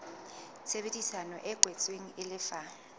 tshebedisano e kwetsweng e lefa